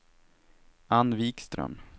Ann Vikström